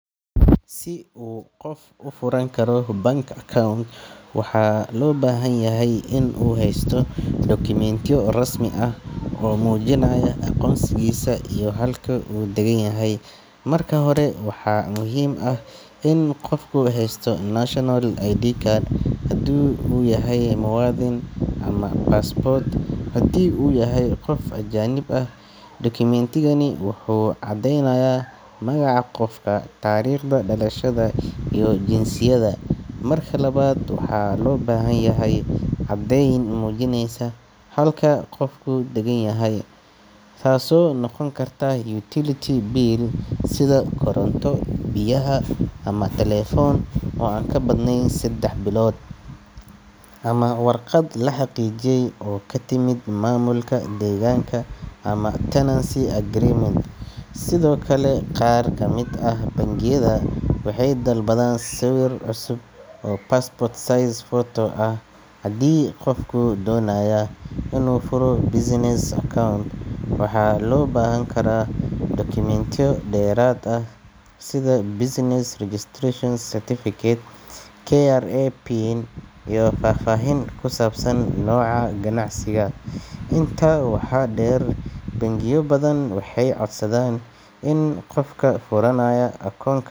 Si qof u furan karo bank account, waxaa loo baahan yahay inuu haysto dukumeentiyo rasmi ah oo muujinaya aqoonsigiisa iyo halka uu deggan yahay. Marka hore, waxaa muhiim ah in qofku haysto national ID card haddii uu yahay muwaadin, ama passport haddii uu yahay qof ajaanib ah. Dukumentigani wuxuu caddeynayaa magaca qofka, taariikhda dhalashada, iyo jinsiyadda. Marka labaad, waxaa loo baahan yahay caddayn muujinaysa halka qofku deggan yahay, taasoo noqon karta utility bill sida koronto, biyaha ama taleefan oo aan ka badnayn saddex bilood, ama warqad la xaqiijiyay oo ka timid maamulka deegaanka ama tenancy agreement. Sidoo kale, qaar ka mid ah bangiyada waxay dalbadaan sawir cusub oo passport size photo ah. Haddii qofku doonayo inuu furo business account, waxaa loo baahan karaa dukumeentiyo dheeraad ah sida business registration certificate, KRA pin, iyo faahfaahin ku saabsan nooca ganacsiga. Intaa waxaa dheer, bangiyo badan waxay codsadaan in qofka furanaya akoon.